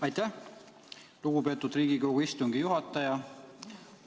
Aitäh, lugupeetud Riigikogu istungi juhataja!